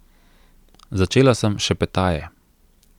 Začela sem šepetaje.